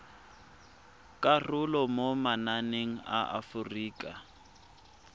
karolo mo mananeng a aforika